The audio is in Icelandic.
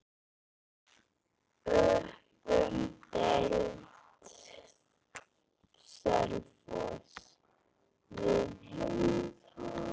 Upp um deild:, Selfoss